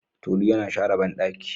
Tolu yana share bandaki.